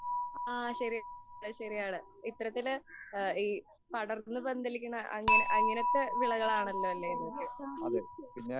ആ ശെരിയാണ് ശെരിയാണ്, ഇത്തരത്തിൽ പടർന്നു പന്തലിക്കുന്ന അങ്ങനെത്തെ വിളകൾ ആണല്ലോ ഇതൊക്കെ.